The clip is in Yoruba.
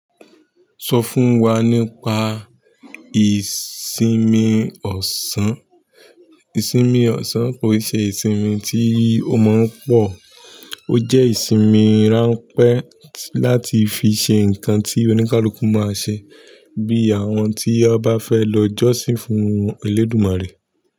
Sọ fún wa nípa ìsinmi ọ̀sán. Ìsinmi ọ̀sán kò n ṣe ìsinmi tí ó maa n pọ̀, ó jẹ́ ìsinmi ránpẹ́ láti fi ṣe nǹkan tí oníkálukú máa ṣe, bí àwọn tí ọba fẹ́ lọ jọ́sìn fún ẹlẹ́dùmarè.